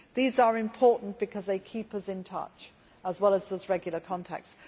These are important because they keep us in touch, as well as serving as regular contacts.